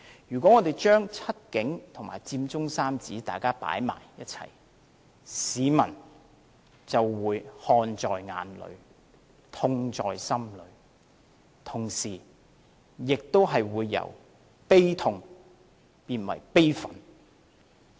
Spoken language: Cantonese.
如果我們將"七警"和佔中三子放在一起，市民就會看在眼裏，痛在心裏，同時，亦會由感到悲痛變為感到悲憤。